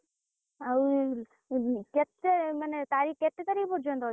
ଆଉ କେତେ ମାନେ କେତେ ତାରିଖ୍ ପର୍ଯନ୍ତ ଅଛି?